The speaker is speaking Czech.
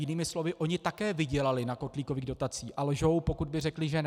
Jinými slovy, oni také vydělali na kotlíkových dotacích a lžou, pokud by řekli, že ne.